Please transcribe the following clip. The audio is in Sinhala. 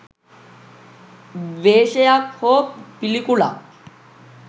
ද්වේශයක් හෝ පිළිකුලක්